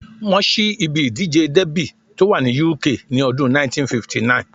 Wọ́n ṣí ibi ìdíje dẹ́bì tó wà ní UK ní ọdún 1959